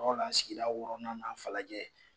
sigida wɔɔrɔnnan na Falajɛ